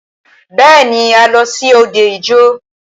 Bẹ́ẹ̀ni,a lọ sí òde ijó.